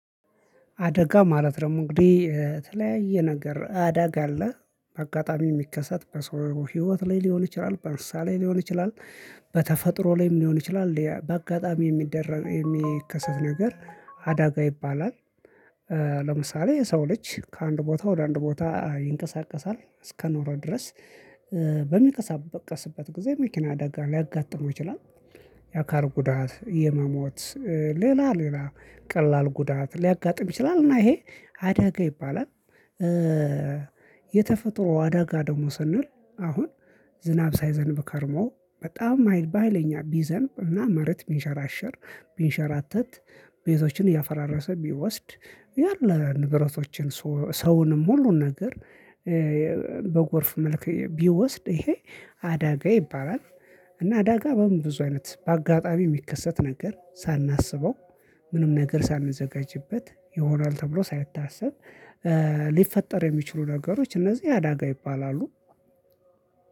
አደጋ ማለት ደሞ እንግዲህ የተለያየ ነገር አደጋ አለ በአጋጣሚ የሚከሰት በሰው ህይወት ላይ ሊሆን ይችላል በእንሰሳ ላይ ሊሆን ይችላል በተፈጥሮ ላይም ሊሆን ይችላል በአጋጣሚ የሚደረግ የሚከሰት ነገር አዳጋ ይባላል። ለምሳሌ የሰው ልጅ ከአንድ ቦታ ወደ አንድ ቦታ ይንቀሳቀሳል እስከኖረ ድረስ። በሚቀሳበቀስበት ጊዜ መኪና አደጋ ሊያጋጥመው ይችላል። የአካል ጉዳት የመሞት። ሌላ ሌላ ቀላል ጉዳት ሊያጋጥም ይችላል እና ይሄ አደጋ ይባላል። የተፈጥሮ አደጋ ደግሞ ስንል። አሁን ዝናብ ሳይዘንብ ከርሞ በጣም በሃይለኛ ቢዘንብ እና መሬት ቢንሸራሸር ቢንሸራተት ቤቶችን እያፈራረሰ ቢወስድ ያለ ንብረቶችን ሰውንም ሁሉን ነገር። በጎርፍ መልክ ቢወስድ ይሄ አዳጋ ይባላል። እና አዳጋ በቡ ብዙ አይነት በአጋጣሚ የሚከሰት ነገር ሳናስበው ምንም ነገር ሳንዘጋጅበት ይሆናል ተብሎ ሳይታሰብ ሊፈጠር የሚችሉ ነገሮች እነዚህ አዳጋ ይባላሉ።